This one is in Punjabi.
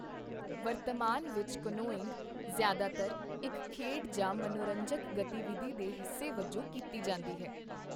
ਵਰਤਮਾਨ ਵਿੱਚ ਕਨੋਇੰਗ ਜ਼ਿਆਦਾਤਰ ਇੱਕ ਖੇਡ ਜਾਂ ਮਨੋਰੰਜਕ ਗਤੀਵਿਧੀ ਦੇ ਹਿੱਸੇ ਵਜੋਂ ਕੀਤੀ ਜਾਂਦੀ ਹੈ।